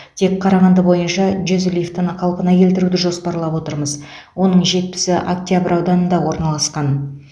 тек қарағанды бойынша жүз лифтіні қалпына келтіруді жоспарлап отырмыз оның жетпісі октябрь ауданында орналасқан